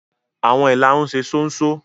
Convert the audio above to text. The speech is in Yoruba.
Awọn ilárún ṣe ṣonṣo.